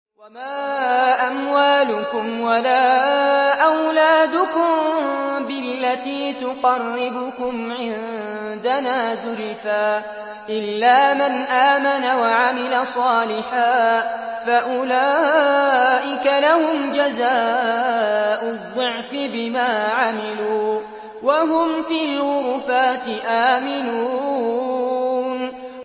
وَمَا أَمْوَالُكُمْ وَلَا أَوْلَادُكُم بِالَّتِي تُقَرِّبُكُمْ عِندَنَا زُلْفَىٰ إِلَّا مَنْ آمَنَ وَعَمِلَ صَالِحًا فَأُولَٰئِكَ لَهُمْ جَزَاءُ الضِّعْفِ بِمَا عَمِلُوا وَهُمْ فِي الْغُرُفَاتِ آمِنُونَ